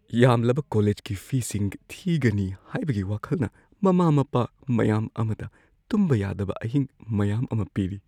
ꯌꯥꯝꯂꯕ ꯀꯣꯂꯦꯖꯀꯤ ꯐꯤꯁꯤꯡ ꯊꯤꯒꯅꯤ ꯍꯥꯏꯕꯒꯤ ꯋꯥꯈꯜꯅ ꯃꯃꯥ ꯃꯄꯥ ꯃꯌꯥꯝ ꯑꯃꯗ ꯇꯨꯝꯕ ꯌꯥꯗꯕ ꯑꯍꯤꯡ ꯃꯌꯥ ꯑꯃ ꯄꯤꯔꯤ ꯫